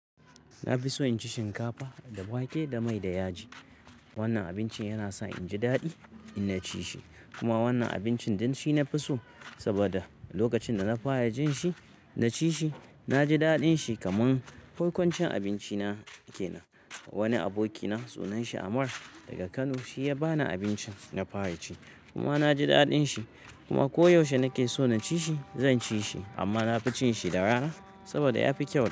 Na fi so in ci shinkafa da wake da mai da yaji. Wannan abincin yana sa in ji daɗi in na ci shi. Kuma wannan abincin din shi na fi so saboda lokacin da na fara jin shi na ci shi. Na ji daɗin shi kaman farkon cin abinci na ke nan. Wani abokina sunan shi Amar daga Kano, shi ya ba ni abincin na fara ci kuma na ji daɗin shi. Kuma ko yaushe na ke so na ci shi zan ci shi. Amma na fi cin shi da rana saboda ya fi kyau.